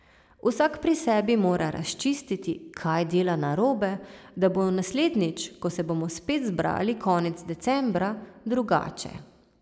Vsak pri sebi mora razčistiti, kaj dela narobe, da bo naslednjič, ko se bomo spet zbrali konec decembra, drugače.